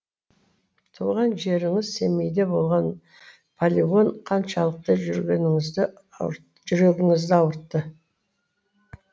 туған жеріңіз семейде болған полигон қаншалықты жүрегіңізді ауыртты